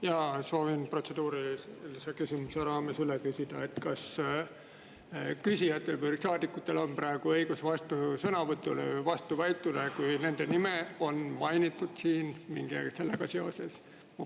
Jaa, soovin protseduurilise küsimuse raames üle küsida, kas küsijatel või saadikutel on praegu õigus vastusõnavõtule või vastuväitele, kui nende nime on mainitud siin mingi asjaga seoses.